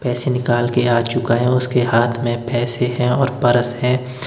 पैसे निकाल के आ चुका हैं उसके हाथ में पैसे हैं और परस हैं।